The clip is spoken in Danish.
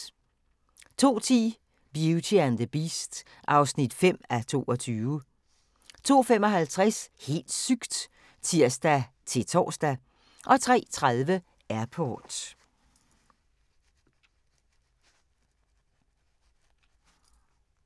02:10: Beauty and the Beast (5:22) 02:55: Helt sygt! (tir-tor) 03:30: Airport